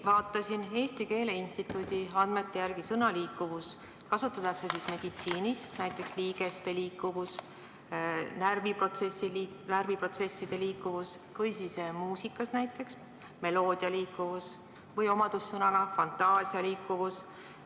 " Vaatasin järele, Eesti Keele Instituudi andmetel kasutatakse sõna "liikuvus" meditsiinis – näiteks liigeste liikuvus, närviprotsesside liikuvus –, samuti muusikas, kus räägitakse meloodia liikuvusest; või kirjeldab see omadust, näiteks fantaasia liikuvus.